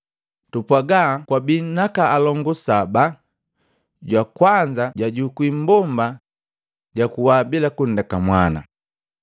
Tupwaga kwabii naka kilongu saba, jwa kwanza jajukwii mmbomba, jakuwa bila kundeka mwana.